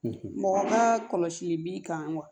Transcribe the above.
Mɔgɔ ma kɔlɔsi b'i kan wa